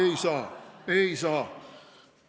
Ei saa, ei saa.